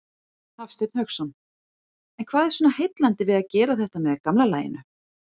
Hafsteinn Hauksson: En hvað er svona heillandi við að gera þetta með gamla laginu?